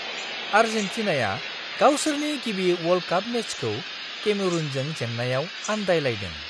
आर्जेन्टिनाया गावसोरनि गिबि world cup मेचखौ केमेरूनजों जेन्नायाव आन्दायलायदों!